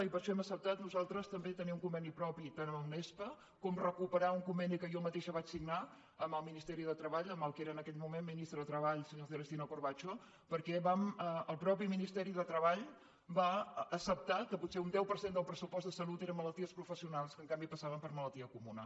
i per això hem acceptat nosaltres també tenir un conveni propi tant amb unespa com recuperar un conveni que jo mateixa vaig signar amb el ministeri de treball amb el que era en aquell moment ministre de treball senyor celestino corbacho perquè el mateix ministeri de treball va acceptar que potser un deu per cent del pressupost de salut eren malalties professionals que en canvi passaven per malaltia comuna